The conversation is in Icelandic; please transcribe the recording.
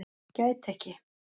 Gæti ekki